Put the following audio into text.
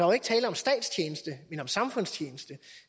jo ikke tale om statstjeneste men om samfundstjeneste